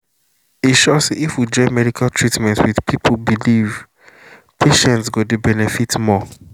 e sure say if we join medical treatment with people belief patients go dey benefit more.